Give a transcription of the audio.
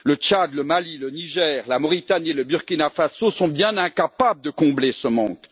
le Tchad, le Mali, le Niger, la Mauritanie et le Burkina Faso sont bien incapables de combler ce manque.